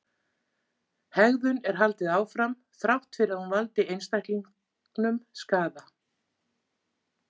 Hegðun er haldið áfram þrátt fyrir að hún valdi einstaklingnum skaða.